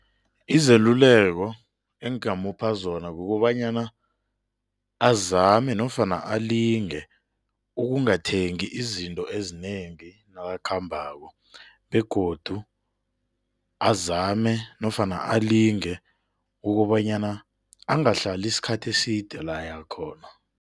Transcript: Izeluleko engamupha zona kukobanyana azame nofana alinge ukungathengi izinto ezinengi nakakhambako begodu azame nofana alinge ukobanyana angahlali isikhathi eside la ayakhona.